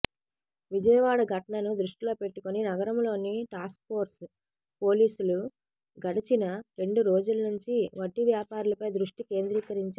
విజయవాడ ఘటనను దృష్టిలో పెట్టుకుని నగరంలోని టాస్క్ఫోర్స్ పోలీసులు గడచిన రెండు రోజుల నుంచి వడ్డీ వ్యాపారులపై దృష్టి కేంద్రీకరించారు